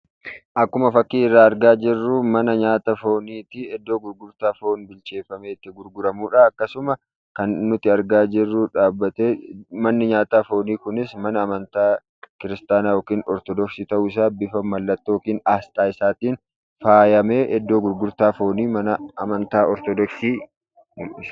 Akkuma fakkii irraa argaa jirru mana nyaata foonifi iddo gurgurtaa foon bilcheeffamee itti gurguramudha. Akkasumas kan nuti argaa jirru dhaabbatee manni nyaataa fooni kunis kan amantaa kiristaanaa yookiin ortodoksii ta'uu isaa bifa mallattoo yookiin aasxaa isaatiin faayamee iddoo gurgurtaa fooni amantaa ortodoksiiti.